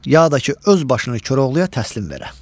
ya da ki öz başını Koroğluya təslim verə.